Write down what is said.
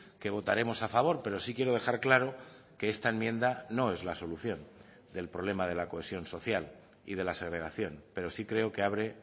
que votaremos a favor pero sí quiero dejar claro que esta enmienda no es la solución del problema de la cohesión social y de la segregación pero sí creo que abre